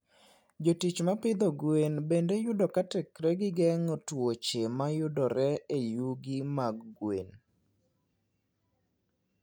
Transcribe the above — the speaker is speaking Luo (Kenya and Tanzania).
Jotich ma pidho gwen bende yudo ka teknegi geng'o tuoche mayudore e yugi mag gwen.